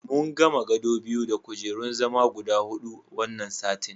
Mun gama gado biyu da kujerun zama guda huɗu wannan satin.